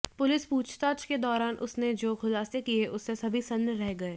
police पूछताछ के दौरान उसने जो खुलासे किए उससे सभी सन्न रह गए